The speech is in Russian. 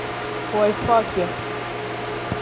лайфхаки